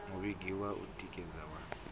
mivhigo ya u tikedza ya